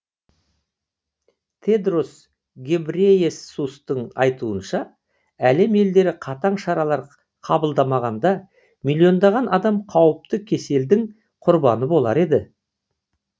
тедрос гебрейесустың айтуынша әлем елдері қатаң шаралар қабылдамағанда миллиондаған адам қауіпті кеселдің құрбаны болар еді